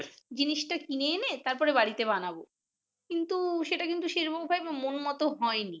জিনিসটা কিনে এনে তারপর বাড়িতে বানাবো কিন্তু সেটা কিন্তু সেটা কিন্তু সেরূপে মন মত হয়নি। । but না হলেও ঐযে তুমি try করেছো নাহ ঠিক আছে